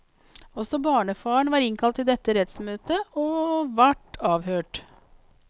Også barnefaren var innkalt til dette rettsmøtet og vart avhørt.